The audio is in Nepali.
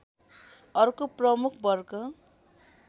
अर्को प्रमुख वर्ग